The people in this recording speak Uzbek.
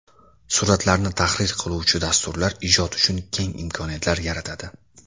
Suratlarni tahrir qiluvchi dasturlar ijod uchun keng imkoniyatlar yaratadi.